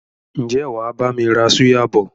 Ǹjẹ́ wàá bami ra súyà bọ̀?